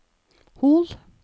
Hol